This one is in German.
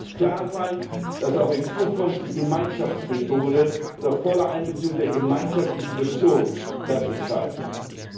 Es muss klar sein, dass auch in Zukunft die Gemeinschaftsmethode unter voller Einbeziehung der Gemeinschaftsinstitutionen das Entscheidende ist.